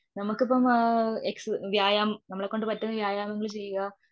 നമ്മൾക്കിപ്പം മ് ആ എക്സ് വ്യായാമം നമ്മളെക്കൊണ്ട് പറ്റുന്ന വ്യായാമങ്ങൾ ചെയ്യുക.